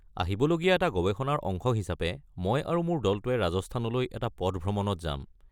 আহিবলগীয়া এটা গৱেষণাৰ অংশ হিচাপে মই আৰু মোৰ দলটোৱে ৰাজস্থানলৈ এটা পথ ভ্ৰমণত যাম।